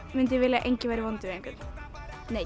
mundi ég vilja að enginn væri vondur við neinn